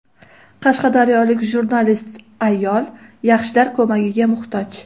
Qashqadaryolik jurnalist ayol yaxshilar ko‘magiga muhtoj.